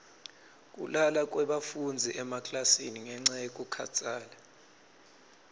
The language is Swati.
kulala kwebafundzi emaklasini ngenca yekukhatsala